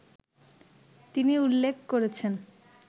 তিনি উল্লেখ করেছেন